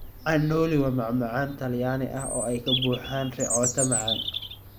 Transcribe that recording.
Cannoli waa macmacaan Talyaani ah oo ay ka buuxaan ricotta macaan.